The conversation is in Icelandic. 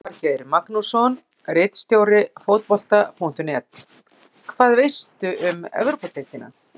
Elvar Geir Magnússon, ritstjóri Fótbolta.net: Hvað veistu um Evrópudeildina?